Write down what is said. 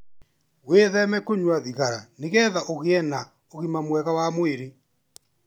Wĩtheme kũnyua thigara nĩgetha ũgĩe na ũgima mwega wa mwĩrĩ.